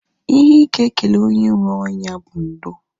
Ihe ị ga-ekele onye nwee onya bụ ndo